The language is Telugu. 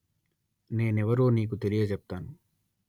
నేనెవరో నీకు తెలియచెప్తాను